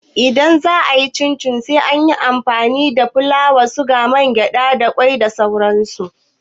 Idan za'a yi cincin sai an tanadi fulawa, sigari, mangyaɗa, kwai da sauran su.